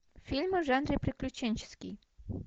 фильмы в жанре приключенческий